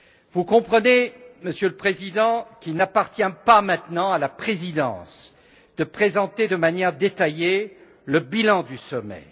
Vous comprenez, Monsieur le Président, qu'il n'appartient pas maintenant à la Présidence de présenter de manière détaillée le bilan du sommet.